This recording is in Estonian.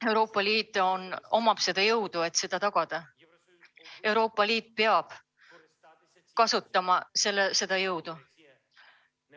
Euroopa Liidul on jõud, et seda tagada, ja Euroopa Liit peab kasutama seda jõudu.